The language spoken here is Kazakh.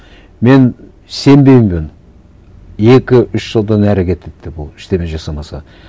мен сенбеймін екі үш жылдан әрі кетеді деп ол ештеңе жасамаса